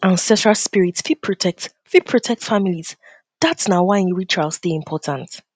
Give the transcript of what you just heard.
ancestral spirits fit protect fit protect families dat na why rituals dey important